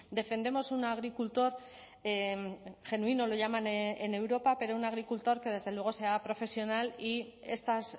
defendemos un agricultor genuino lo llaman en europa pero una agricultor que desde luego sea profesional y estas